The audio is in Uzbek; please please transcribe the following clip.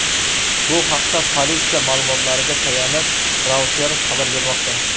Bu haqda politsiya ma’lumotlariga tayanib Reuters xabar bermoqda .